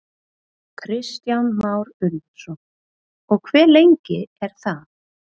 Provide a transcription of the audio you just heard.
Kristján Már Unnarsson: Og hve lengi er það?